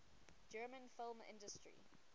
german film industry